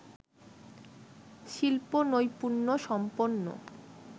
শিল্প-নৈপুণ্যসম্পন্ন